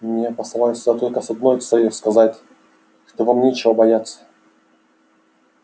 меня послали сюда только с одной целью сказать что вам нечего бояться